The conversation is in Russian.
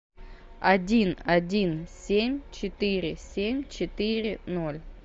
один один семь четыре семь четыре ноль